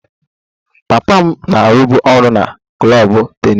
Papa m na-arụbu ọrụ na klọb tennis